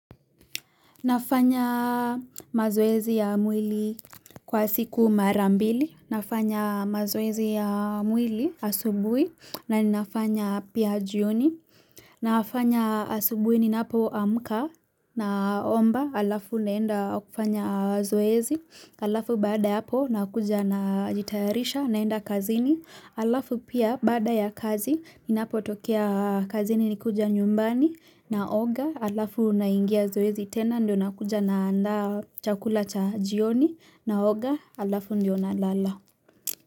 Nafanya mazoezi ya mwili kwa siku marambili. Nafanya mazoezi ya mwili asubuhi na ninafanya pia jioni. Nafanya asubui ninapo amka na omba alafu naenda kufanya zoezi. Alafu bada yahapo nakuja najitarisha naenda kazini. Alafu pia bada ya kazi ninapotokea kazini nikuja nyumbani naoga. Alafu unaingia zoezi tena ndio nakuja na anda chakula cha jioni na oga alafu ndio na lala.